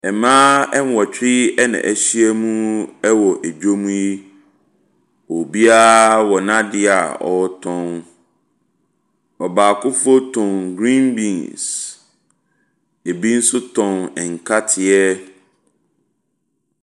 Mmaa nwɔtwe ɛna ahyia mu wɔ adwa mu yi, obiara wɔ n’adeɛ a ɔretɔn. Ɔbaakofo tɔn green beans, ɛbi nso tɔn nkateɛ.